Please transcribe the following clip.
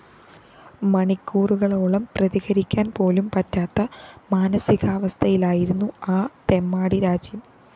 മണിക്കൂറുകളോളം പ്രതികരിക്കാന്‍പോലും പറ്റാത്ത മാനസികാവസ്ഥയിലായിരുന്നു ആ തെമ്മാടിരാജ്യം